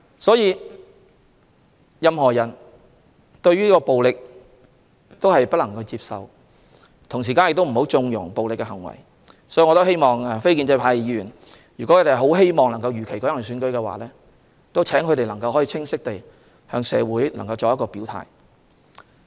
所有人都不能接受暴力，亦不應縱容暴力行為，所以，如果非建制派議員希望如期舉行選舉，請他們清晰地向社會人士作出表態。